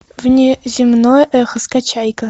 внеземное эхо скачай ка